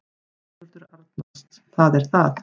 Sigurður Arnalds: Það er það.